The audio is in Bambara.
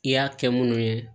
I y'a kɛ munnu ye